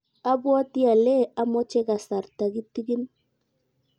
abwatii ale amoche kasarta kitikin.